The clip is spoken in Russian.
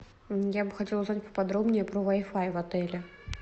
я бы хотела узнать по подробнее про вай фай в отеле